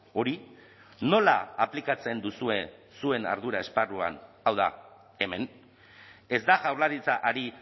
hori nola aplikatzen duzue zuen ardura esparruan hau da hemen ez da jaurlaritza ari